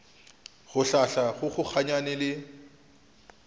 go hlahla go kgokaganya le